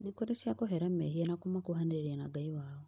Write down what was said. nĩkũrĩ cia kũhera mehia na kũmakuhanĩrĩria na Ngai wao